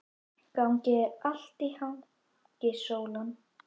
Gangi þér allt í haginn, Sólon.